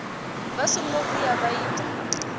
vha songo vhuya vha ita